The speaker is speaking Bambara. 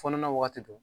Fɔnɔ na wagati do